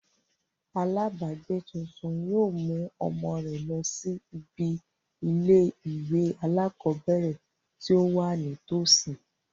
Alábàágbé tuntun yóò mú ọmọ rẹ̀ lọ sí ibi ilé ìwé alákọ̀ọ́bẹ̀ẹ̀rẹ̀ tí ó wà ní tọ̀sí.